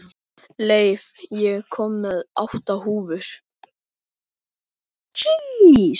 Leif, ég kom með átta húfur!